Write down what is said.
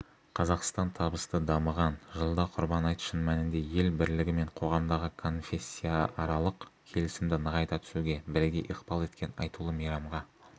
қазақстан табысты дамыған жылда құрбан айт шын мәнінде ел бірлігі мен қоғамдағы конфессияаралық келісімді нығайта түсуге бірегей ықпал еткен айтулы мейрамға